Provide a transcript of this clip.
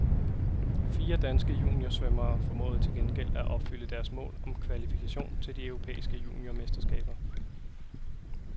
Fire danske juniorsvømmere formåede til gengæld at opfylde deres mål om kvalifikation til de europæiske juniormesterskaber.